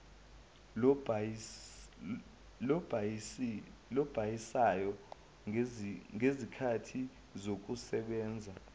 lobhalisayo ngezikhathi zokusebenza